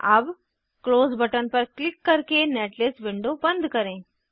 अब close button पर click करके नेटलिस्ट विंडो बंद करें